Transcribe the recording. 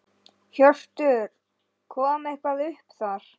Hjörtur: Kom eitthvað upp þar?